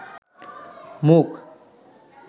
মুখ